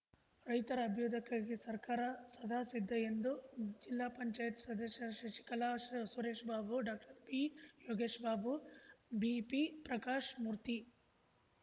ರೈತರ ಅಭ್ಯುದಯಕ್ಕಾಗಿ ಸರ್ಕಾರ ಸದಾ ಸಿದ್ಧ ಎಂದು ಜಿಲ್ಲಾ ಪಂಚಾಯ್ತಿ ಸದಸ್ಯರಾದ ಶಶಿಕಲಾ ಸುರೇಶ್‌ಬಾಬು ಡಾಕ್ಟರ್ ಬಿಯೋಗೇಶ್‌ಬಾಬು ಬಿಪಿ ಪ್ರಕಾಶ್‌ಮೂರ್ತಿ